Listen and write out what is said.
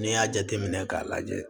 N'i y'a jateminɛ k'a lajɛ